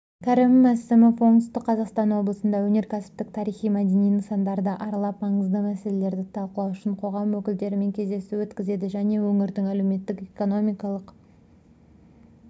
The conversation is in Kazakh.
кәрім мәсімов оңтүстік қазақстан облысында өнеркәсіптік тарихи-мәдени нысандарды аралап маңызды мәселелерді талқылау үшін қоғам өкілдерімен кездесу өткізеді және өңірдің әлеуметтік-экономикалық